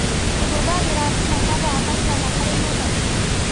ũhũthagĩra thimũ mathaa maigana harĩ mũthenya?